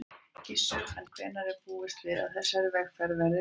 Gissur: En hvenær er búist við að þessari viðgerð verði lokið?